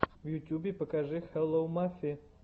в ютюбе покажи хелло мафи